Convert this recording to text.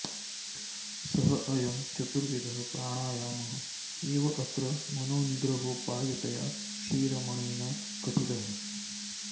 सः अयं चतुर्विधः प्राणायामः एव अत्र मनोनिग्रहोपायतया श्रीरमणेन कथितः